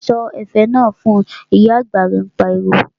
Sọ ẹ̀fẹ̀ náà fun', Ìyá àgbà rẹ̀ pariwo